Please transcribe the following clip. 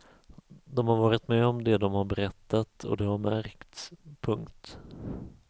De har varit med om det de har berättat och det har märkts. punkt